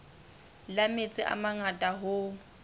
la metsi a mangata hoo